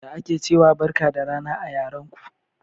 Ya ake ciwa Barka da rana a yaran ko?